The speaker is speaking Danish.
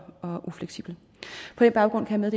ufleksibel på den baggrund kan jeg